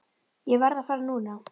Ég verð að fara núna!